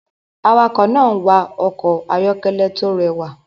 Awakọ̀ náà ń wa ọkọ̀ ayọ́kẹ́lẹ́ tó rẹwà